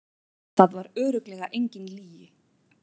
Það var örugglega engin lygi.